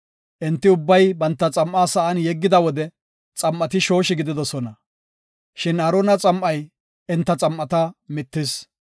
Enti ubbay banta xam7aa sa7an yeggida wode xam7ati shooshi gididosona. Shin Aarona xam7ay enta xam7ata mittis